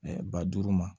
ba duuru ma